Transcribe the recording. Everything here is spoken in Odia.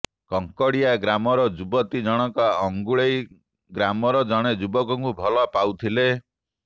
କଙ୍କଡ଼ିଆ ଗ୍ରାମର ଯୁବତୀ ଜଣଙ୍କ ଅଙ୍ଗୁଳେଇ ଗ୍ରାମର ଜଣେ ଯୁବକଙ୍କୁ ଭଲ ପାଉଥିଲେ